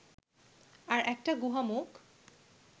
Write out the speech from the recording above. আর একটা গুহামুখ